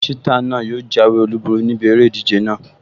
Ṣítà náà yóò jáwé olùborí níbi eré ìdíje náà